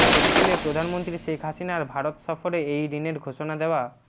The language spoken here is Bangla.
এপ্রিলে প্রধানমন্ত্রী শেখ হাসিনার ভারত সফরে এই ঋণের ঘোষণা দেওয়া